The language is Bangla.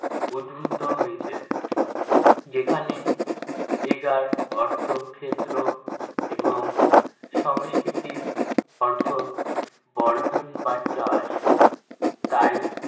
উদ্ভূত হয়েছে। যেখানে, ager অর্থ ক্ষেত্র এবং সংস্কৃতির অর্থ বর্ধন বা চাষ। তাই